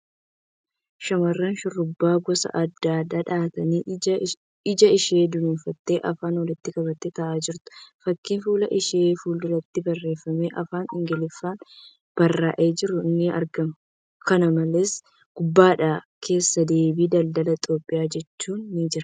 Shamarran shurrubbaa gosa addaa dha'attee ija ishee dunuunfattee afaan walitti qabattee taa'aa jirtu. Fakkii fuula ishee fuulduratti barreeffamni afaan Ingiliffaan barraa'ee jiru ni argama. Kana malees, gubbaadhaan 'Keessa deebii daldala Itiyoophiyaa ' jedhu ni jira.